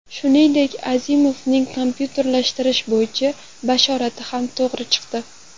Shuningdek, Azimovning kompyuterlashtirish bo‘yicha bashorati ham to‘g‘ri chiqdi.